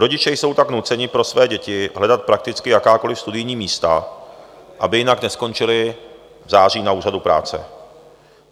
Rodiče jsou tak nuceni pro své děti hledat prakticky jakákoliv studijní místa, aby jinak neskončily v září na úřadu práce.